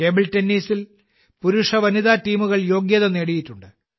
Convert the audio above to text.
table ടെന്നീസിൽ പുരുഷ വനിതാ ടീമുകൾ യോഗ്യത നേടിയിട്ടുണ്ട്